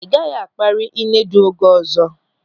Ị gaghị akpari Inedu oge ọzọ.